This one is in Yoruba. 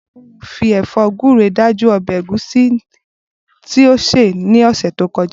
Bùkúnmi fi è̩fó̩ gúre dájú o̩bè̩ ègúsí tí ó sè ní ò̩sè̩ tó ko̩já